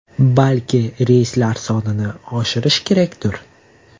Balki reyslar sonini oshirish kerakdir?